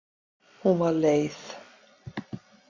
Hún var leið.